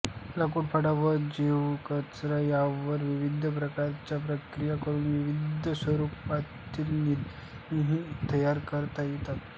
लाकूडफाटा व जैव कचरा यांवर विविध प्रकारच्या प्रक्रिया करून विविध स्वरूपातील इंधनेही तयार करता येतात